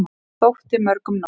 Og þótti mörgum nóg.